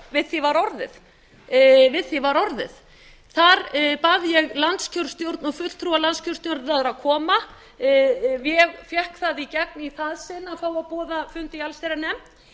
eftir fundi í allsherjarnefnd við því var orðið þar bað ég landskjörstjórn og fulltrúa landskjörstjórnar að koma ég fékk það í gegn í það sinn að fá að boða fund í allsherjarnefnd